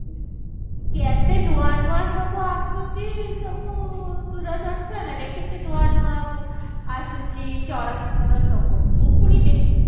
କେତେ ନୂଆ ନୂଆ ସବୁ ଆସୁଛି ସବୁ ଦୂରଦର୍ଶନ ରେ କେତେ ନୂଆ ନୂଆ ଆସୁଛି ଚଳଚିତ୍ର ସବୁ ମୁଁ ପୁଣି ଦେଖିବି